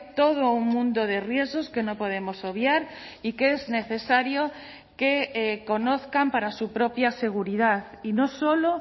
todo un mundo de riesgos que no podemos obviar y que es necesario que conozcan para su propia seguridad y no solo